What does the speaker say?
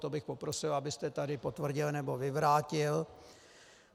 To bych poprosil, abyste tady potvrdil, nebo vyvrátil.